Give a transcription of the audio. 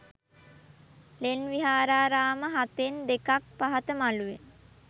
ලෙන් විහාරාරාම හතෙන් දෙකක් පහත මළුවේ